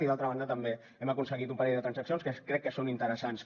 i d’altra banda també hem aconseguit un parell de transaccions que crec que són interessants